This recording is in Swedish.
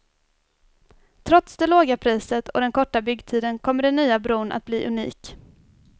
Trots det låga priset och den korta byggtiden kommer den nya bron att bli unik.